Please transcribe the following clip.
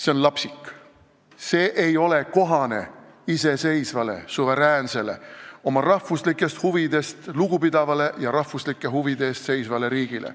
See on lapsik, see ei ole kohane iseseisvale, suveräänsele, oma rahvuslikest huvidest lugupidavale ja rahvuslike huvide eest seisvale riigile.